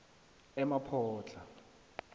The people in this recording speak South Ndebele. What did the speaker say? emaphodlha